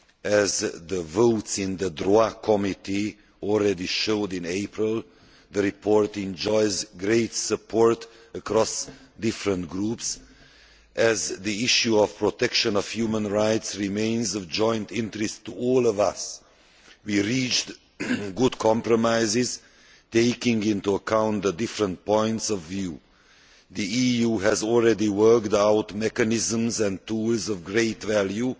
As the votes in the Human Rights Subcommittee showed in April, the report enjoys great support across different groups, as the issue of protection of human rights remains of joint interest to us all. We reached good compromises, taking into account the different points of view. The EU has already worked out mechanisms and tools of great value